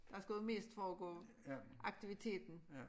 Der skulle jo mest foregå aktiviteten